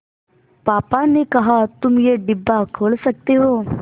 पापा ने कहा तुम ये डिब्बा खोल सकते हो